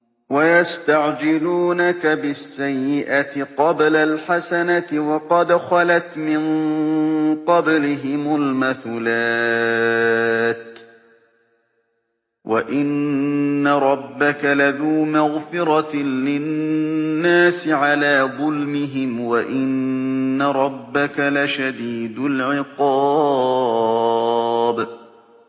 وَيَسْتَعْجِلُونَكَ بِالسَّيِّئَةِ قَبْلَ الْحَسَنَةِ وَقَدْ خَلَتْ مِن قَبْلِهِمُ الْمَثُلَاتُ ۗ وَإِنَّ رَبَّكَ لَذُو مَغْفِرَةٍ لِّلنَّاسِ عَلَىٰ ظُلْمِهِمْ ۖ وَإِنَّ رَبَّكَ لَشَدِيدُ الْعِقَابِ